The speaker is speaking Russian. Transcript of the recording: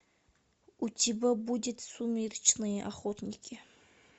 у тебя будет сумеречные охотники